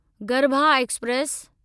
garba express